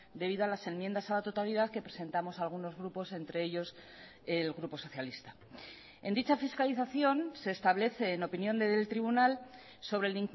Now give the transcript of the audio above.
debido a las enmiendas a la totalidad que presentamos algunos grupos entre ellos el grupo socialista en dicha fiscalización se establece en opinión del tribunal sobre el